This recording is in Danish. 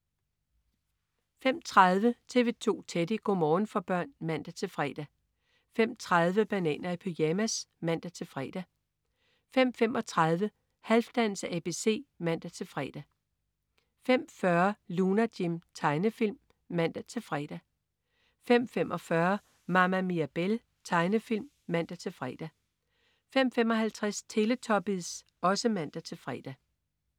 05.30 TV 2 Teddy. Go' morgen for børn (man-fre) 05.30 Bananer i pyjamas (man-fre) 05.35 Halfdans ABC (man-fre) 05.40 Lunar Jim. Tegnefilm (man-fre) 05.45 Mama Mirabelle. Tegnefilm (man-fre) 05.55 Teletubbies (man-fre)